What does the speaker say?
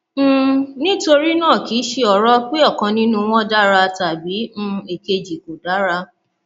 um nítorí náà kì í ṣe ọrọ pé ọkan nínú wọn dára tàbí um èkejì kò dára um